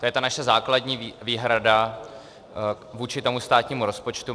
To je ta naše základní výhrada vůči tomu státnímu rozpočtu.